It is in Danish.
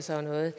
sådan noget